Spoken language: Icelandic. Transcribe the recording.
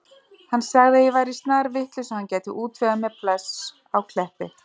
Hann sagði að ég væri snarvitlaus og hann gæti útvegað mér pláss á Kleppi.